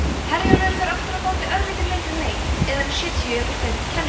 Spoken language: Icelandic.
herjólfur fer aftur á móti örlítið lengri leið eða um sjötíu og fimm kennimynd